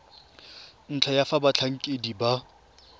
ntlha ya fa batlhankedi ba